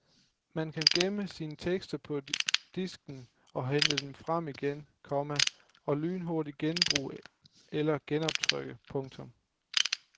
Man kan gemme sine tekster på disken og hente dem frem igen senere, komma og lynhurtigt genbruge eller genoptrykke. punktum